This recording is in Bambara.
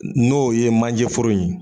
N'o ye manje foro in ye